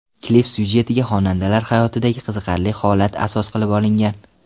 Klip syujetiga xonandalar hayotidagi qiziqarli holatlar asos qilib olingan.